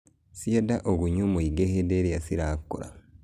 Ciendaa ũgunyu mũingĩ hĩndĩ ĩrĩa cirakũra.